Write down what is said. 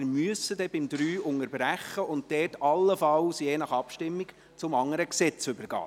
Beim Absatz 3 müssen wir dann unterbrechen und dort allenfalls, je nach Abstimmung, zum anderen Gesetz übergehen.